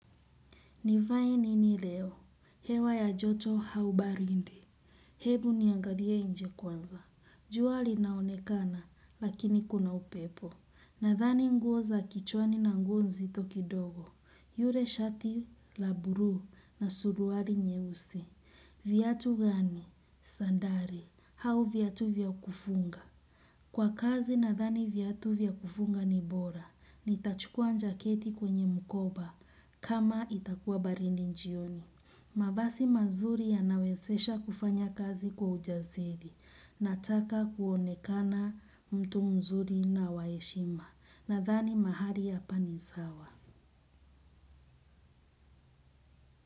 Nivae nini leo, hewa ya joto au baridi. Hebu niangalie nje kwanza. Jua linaonekana, lakini kuna upepo. Nadhani nguo za kichwani na nguo nzito kidogo. Ye shati, la bluu na suruali nyeusi. Viatu gani? Sandali. Au viatu vya kufunga. Kwa kazi nadhani viatu vya kufunga ni bora. Nitachukua jaketi kwenye mkoba kama itakuwa baridi jioni. Mavazi mazuri yanawezesha kufanya kazi kwa ujasiri. Nataka kuonekana mtu mzuri na wa heshima. Nadhani mahali hapa ni sawa.